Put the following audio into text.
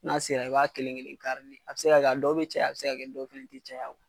N'a sera i b'a kelen kelen kari de. A be se ka kɛ a dɔw be caya, a be se ka kɛ a dɔw te caya.